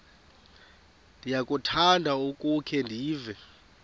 ndiyakuthanda ukukhe ndive